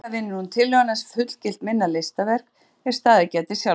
Iðulega vinnur hún tillöguna sem fullgilt minna listaverk er staðið geti sjálfstætt.